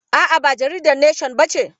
A'a, ba jaridar neshon ba ce.